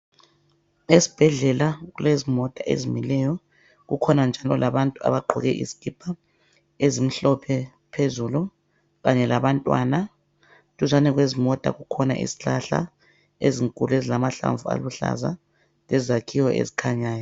Esibhedlela kulezimota ezimileyo. Kukhona njalo labantu abagqoke izikipa ezimhlophe phezulu kanye labantwana. Duzane kwezimota kukhona izihlahla ezinkulu ezilamahlamvu aluhlaza lezakhiwo ezikhanyayo.